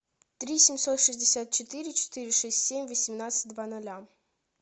три семьсот шестьдесят четыре четыре шесть семь восемнадцать два ноля